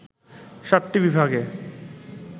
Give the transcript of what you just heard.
সাতটি বিভাগে